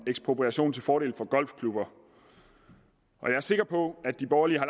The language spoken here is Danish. ekspropriation til fordel for golfklubber og jeg er sikker på at de borgerlige har